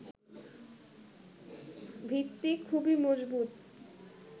ভিত্তি খুবই মজবুত